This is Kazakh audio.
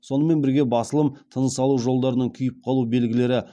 сонымен бірге басылым тыныс алу жолдарының күйіп қалу белгілері